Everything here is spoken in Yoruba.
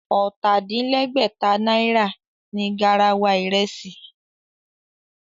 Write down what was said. Ọ̀tà-din-lẹ́gbẹ̀ta náírà ni garawa ìrẹsì